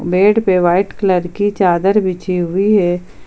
Bed पे white colour की चादर बिछी हुई है।